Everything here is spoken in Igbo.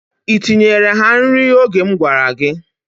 I tinyeere ha nri oge m gwara gị?